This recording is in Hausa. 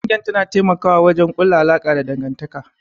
Kungiyar tana taimawa wajen kulla alaka da dangantaka.